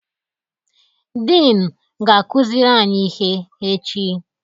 Dịn ga-akụziri anyị ihe echi.